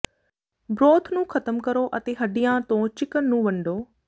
broth ਨੂੰ ਖ਼ਤਮ ਕਰੋ ਅਤੇ ਹੱਡੀਆਂ ਤੋਂ ਚਿਕਨ ਨੂੰ ਵੰਡੋ